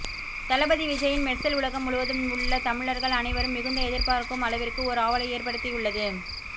தளபதி விஜய்யின் மெர்சல் உலகம் முழுவதும் உள்ள தமிழர்கள் அனைவரும் மிகுந்த எதிர் பார்க்கும் அளவிற்கு ஒரு ஆவலை ஏற்படுத்தியுள்ளது